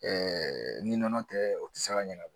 Ɛɛ ni nɔnɔ tɛ o tɛ se ka ɲɛnabɔ